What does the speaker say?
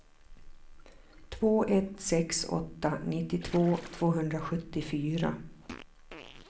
två ett sex åtta nittiotvå tvåhundrasjuttiofyra